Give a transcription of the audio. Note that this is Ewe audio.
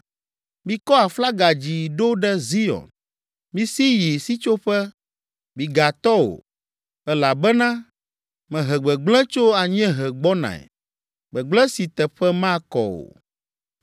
Mikɔ aflaga dzi ɖo ɖe Zion! Misi yi sitsoƒe, migatɔ o! Elabena mehe gbegblẽ tso anyiehe gbɔnae, gbegblẽ si teƒe makɔ o.”